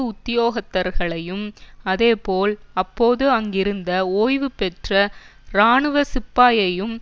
உத்தியோகத்தர்களையும் அதேபோல் அப்போது அங்கிருந்த ஓய்வுபெற்ற இராணுவ சிப்பாயையும்